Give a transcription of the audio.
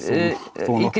þó nokkuð